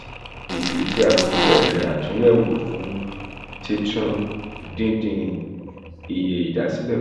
ìdí tí a fi bẹ̀rẹ̀ àtúnyẹ̀wò fún títún dídín iye ìdásílẹ̀ kù